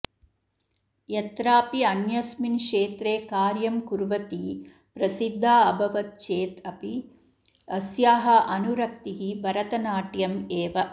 यत्रापि अन्यस्मिन् क्षेत्रे कार्यं कुर्वती प्रसिधा अभवत् चेत् अपि अस्याः अनुरक्तिः भरतनाट्यम् एव